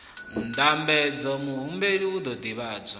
ndambedzo muhumbeli u ḓo ḓivhadzwa